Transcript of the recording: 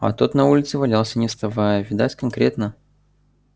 а тот на улице валялся не вставая видать конкретно